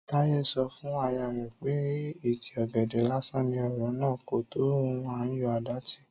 Táyé sọ fún aya rẹ̀ pé ìtí ọ̀gẹ̀dẹ̀ lásán ní ọ̀rọ̀ náà, kò tó ohun à ń yọ àdá tì